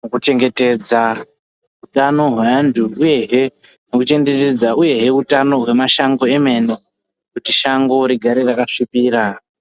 nekuchengetedza utano hweantu, uyehe nekuchengetedza uyehe utano hwemashango emene, kuti shango rigare rakasvipira.